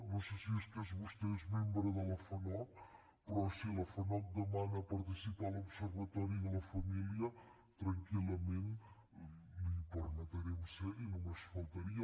no sé si és que vostè és membre de la fanoc però si la fanoc demana participar a l’observatori de la família tranquillament li permetrem ser hi només faltaria